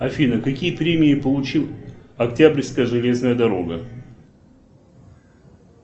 афина какие премии получила октябрьская железная дорога